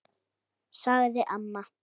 sagði amma.